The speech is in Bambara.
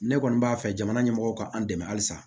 Ne kɔni b'a fɛ jamana ɲɛmɔgɔw ka an dɛmɛ halisa